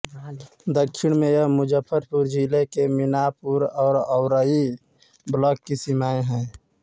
दक्षिण में यह मुजफ्फरपुर जिले के मिनापुर और औरई ब्लॉक की सीमाएं हैं